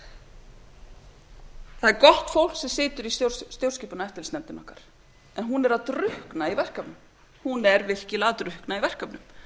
það er gott fólk sem situr í stjórnskipunar og eftirlitsnefndinni okkar en hún er að drukkna í verkefnum hún er virkilega að drukkna í verkefnum